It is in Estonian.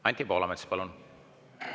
Anti Poolamets, palun!